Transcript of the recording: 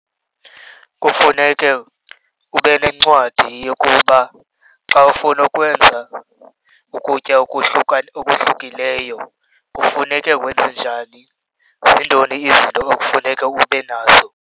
Kufuneke ube nencwadi yokuba xa ufuna ukwenza ukutya okuhlukileyo kufuneke wenze njani, zintoni izinto ekufuneka ube nazo.